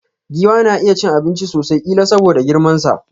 Giwa na iya cin abinchi sosai, killa soboda girman sa.